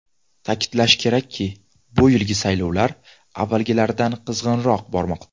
Ta’kidlash kerakki, bu yilgi saylovlar avvalgilaridan qizg‘inroq bormoqda .